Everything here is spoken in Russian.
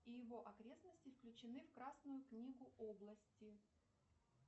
и его окрестности включены в красную книгу области